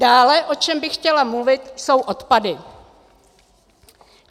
Dále, o čem bych chtěla mluvit, jsou odpady.